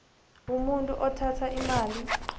umuntu othatha imali